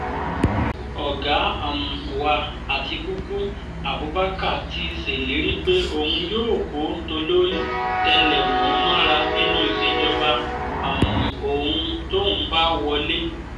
ọ̀gá um wa àtikúkú abubakar ti sèlérí pé òun yóò kó tolórí tẹlẹ̀mú mọ́ra nínú ìṣèjọba um òun tóun bá wọlé